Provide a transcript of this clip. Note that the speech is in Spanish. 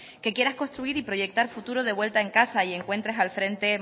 que quieras construir y proyectar futuro de vuelta a casa y encuentres al frente